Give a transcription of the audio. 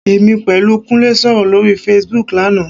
Èmi pẹ̀lú Kúnlé sọ̀rọ̀ lórí Facebook lánàá